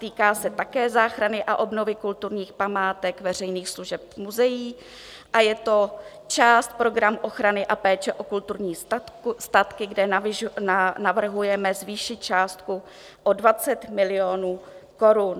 Týká se také záchrany a obnovy kulturních památek, veřejných služeb, muzeí a je to část programu ochrany a péče o kulturní statky, kde navrhujeme zvýšit částku o 20 milionů korun.